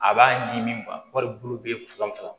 A b'a ɲimi wali bolo bɛ fanga sɔrɔ